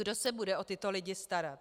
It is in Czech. Kdo se bude o tyto lidi starat?